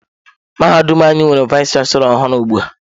Mahadum anyị nwere vayis chansilọ ọhụụ ugbu a.